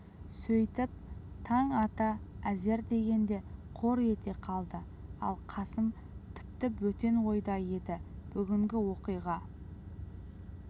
сөйтіп таң ата әзер дегенде қор ете қалды ал қасым тіпті бөтен ойда еді бүгінгі оқиға